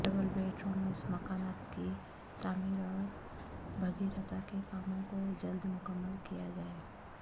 double bed rooms مکانات کی تعمیر اور بھگیرتا کے کاموں کو جلد مکمل کیا جائے